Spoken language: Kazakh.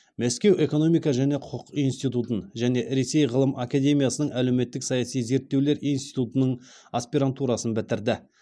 мәскеу экономика және құқық институтын және ресей ғылым академиясының әлеуметтік саяси зерттеулер институтының аспирантурасын бітірді